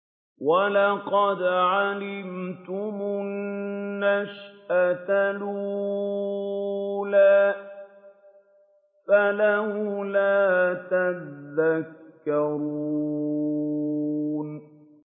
وَلَقَدْ عَلِمْتُمُ النَّشْأَةَ الْأُولَىٰ فَلَوْلَا تَذَكَّرُونَ